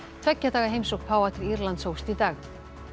tveggja daga heimsókn páfa til Írlands hófst í dag